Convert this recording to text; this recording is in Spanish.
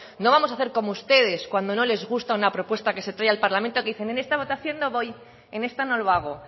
no vamos a hacer como ustedes cuando no les gusta una propuesta que se trae al parlamento que dicen en esta votación no voy en esta no lo hago